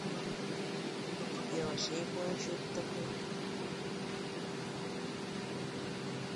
я вообще не понял че это такое